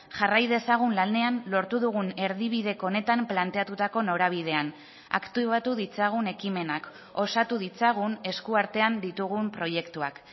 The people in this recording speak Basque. jarrai dezagun lanean lortu dugun erdibideko honetan planteatutako norabidean aktibatu ditzagun ekimenak osatu ditzagun eskuartean ditugun proiektuak